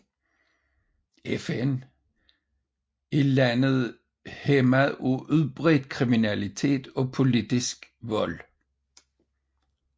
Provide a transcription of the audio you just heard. FN er landet hæmmet af udbredt kriminalitet og politisk vold